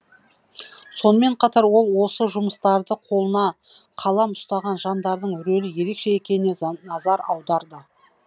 сонымен қатар ол осы жұмыстарда қолына қалам ұстаған жандардың рөлі ерекше екеніне назар аударды